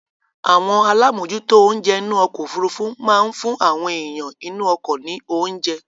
Àwọn alámòjútó oúnjẹ inú ọkọ-òfurufú máa ń fún àwọn èèyàn inú ọkọ ní oúnjẹ.